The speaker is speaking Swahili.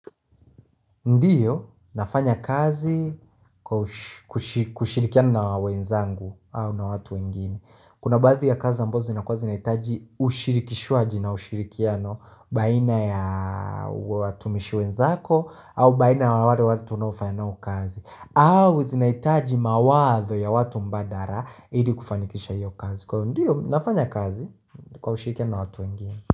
Ndiyo, nafanya kazi kushirikiana wenzangu au na watu wengini Kuna baadhi ya kazi ambazo na kwa zinaitaji ushirikishuaji na ushirikiano baina ya watumishi wenzako au baina ya wale watu na ufayanu kazi au zinaitaji mawazo ya watu mbadara ili kufanikisha hiyo kazi Kwa ndiyo, nafanya kazi kwa ushirikia na watu wengini.